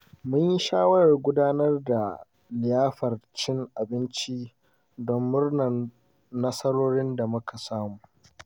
Mun yi shawarar gudanar da liyafar cin abinci don murnar nasarorin da muka samu.